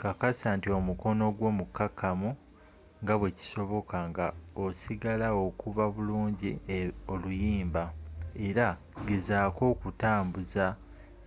kakasa nti omukono gwo mukakamu nga bwekisoboka nga osigaal okuba buliungi oluyimba era gezaako okutambua